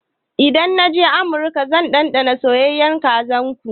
Idan na je amurka zan ɗanɗana soyayyan kazan su.